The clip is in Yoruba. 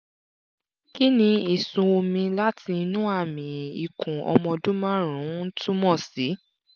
kí ni ìsun omi láti inú àmì ikùn ọmọ ọdún márùn-ún túmọ̀ sí?